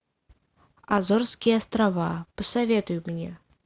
азорские острова посоветуй мне